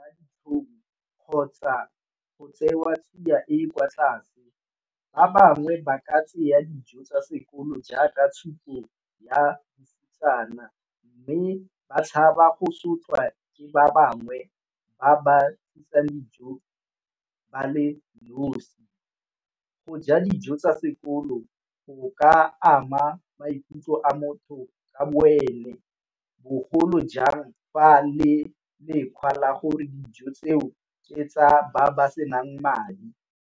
kgotsa go tsewa tsia e e kwa tlase. Ba bangwe ba ka tseya dijo tsa sekolo jaaka tshupo ya utlwisisana mme ba tshaba go sotlwa ke ba bangwe ba ba dijo ba le nosi. Go ja dijo tsa sekolo go ka ama maikutlo a motho a wele bogolo jang fa le le la gore dijo tseo ke tsa ba ba senang madi.